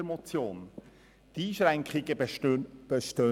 Die Einschränkungen bestehen nicht mehr.